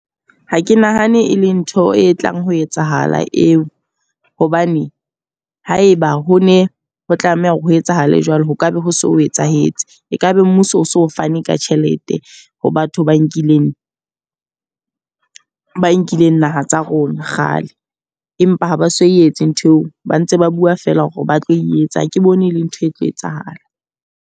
Ha ke nahane e le ntho e tlang ho etsahala eo. Hobane haeba ho ne ho tlameha ho etsahale jwalo, ho ka be ho so o etsahetseng. Ekabe mmuso o so fane ka tjhelete ho batho ba nkileng, ba nkileng naha tsa rona kgale. Empa ha ba so etse ntho eo, ba ntse ba bua fela hore ba tlo e etsa. Ha ke bone e le ntho e tlo etsahala.